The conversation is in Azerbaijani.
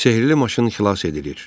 Sehrli maşın xilas edilir.